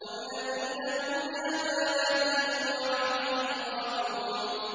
وَالَّذِينَ هُمْ لِأَمَانَاتِهِمْ وَعَهْدِهِمْ رَاعُونَ